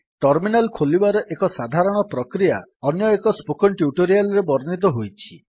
terminal ଖୋଲିବାର ଏକ ସାଧାରଣ ପ୍ରକ୍ରିୟା ଅନ୍ୟଏକ ସ୍ପୋକେନ୍ ଟ୍ୟୁଟୋରିଆଲ୍ ରେ ବର୍ଣ୍ଣିତ ହୋଇଛି